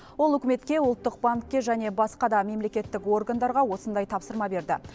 ол үкіметке ұлттық банкке және басқа да мемлекеттік органдарға осындай тапсырма берді